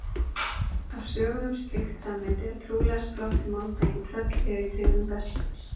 Af sögum um slíkt samneyti er trúlega sprottið máltækið tröll eru í tryggðum best.